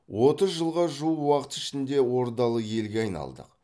отыз жылға жуық уақыт ішінде ордалы елге айналдық